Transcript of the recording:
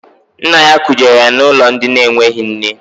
Nna ya kujere ya n'ụlọ ndị enweghị nne.